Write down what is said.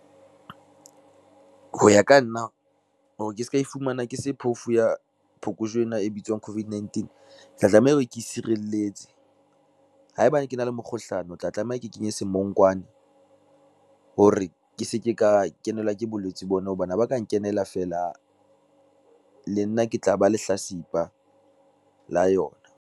Ho ya ka nna, hore ke ska e fumana ke se phofu ya phokojwe ena e bitswang COVID-19 tla tlameha hore ke sireletse. Haebane ke na le mekgohlano ke tla tlameha ke kenye semonkwane, hore ke se ke ka kenelwa ke bolwetse bona, hobane ha ba ka nkenela feela, le nna ke tla ba lehlasipa la yona.